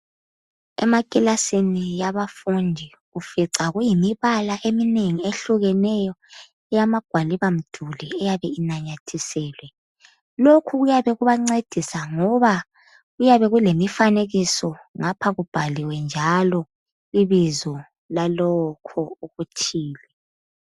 Emakilasini yabafundi, ufica kuyimibala ehlukeneyo eyamagwaliba mduli eyabe inanyathiselwe. Lokhu kuyabe kubancedisa ngoba kuyabe kulemifanekiso ngapha kubhaliwe njalo ibizo lalokho okuthile.